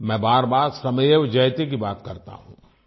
मैं बारबार श्रमेवजयते की बात करता हूँ